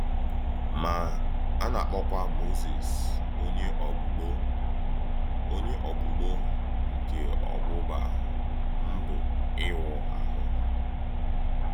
Ma, a na-akpọ́kwá Mózìs Ònyé Ọ̀gbùgbò — Ònyé Ọ̀gbùgbò nke Ọ̀gbùgbà Ndụ́ Íwù ahụ.